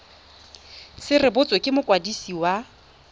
se rebotswe ke mokwadisi wa